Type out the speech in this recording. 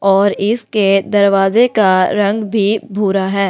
और इसके दरवाजे का रंग भी भूरा है।